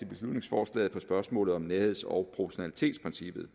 beslutningsforslaget på spørgsmålet om nærheds og proportionalitetsprincippet